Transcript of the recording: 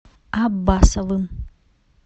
аббасовым